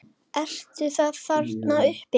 Eruð þið þarna uppi!